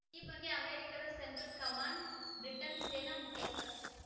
ಈ ಬಗ್ಗೆ ಅಮೆರಿಕದ ಸೆಂಟ್ರಲ್‌ ಕಮ್ಯಾಂಡ್‌ ಬ್ರಿಟನ್‌ನ ಸೇನಾ ಮುಖ್ಯಸ್ಥ